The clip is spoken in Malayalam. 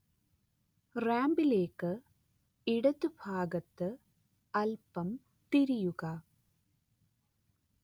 റാമ്പിലേക്ക് ഇടത് ഭാഗത്ത് അല്പം തിരിയുക